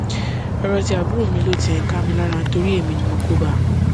ọrọ ti àbúrò mi ló tiẹ ń ká mi lára torí èmi ni mo kó bá a